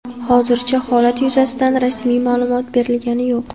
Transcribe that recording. Hozircha holat yuzasidan rasmiy ma’lumot berilgani yo‘q.